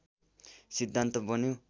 सिद्धान्त बन्यो